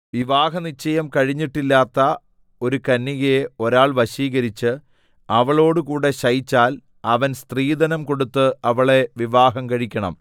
വിവാഹനിശ്ചയം കഴിഞ്ഞിട്ടില്ലാത്ത ഒരു കന്യകയെ ഒരാൾ വശീകരിച്ച് അവളോടുകൂടെ ശയിച്ചാൽ അവൻ സ്ത്രീധനം കൊടുത്ത് അവളെ വിവാഹം കഴിക്കണം